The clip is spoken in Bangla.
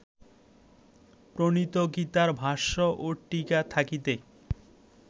প্রণীত গীতার ভাষ্য ও টীকা থাকিতে